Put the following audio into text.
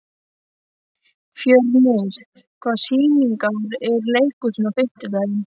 Fjörnir, hvaða sýningar eru í leikhúsinu á fimmtudaginn?